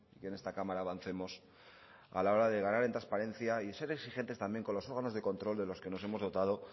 que en esta cámara avancemos a la hora de ganar en transparencia y ser exigentes también con los órganos de control de los que nos hemos dotado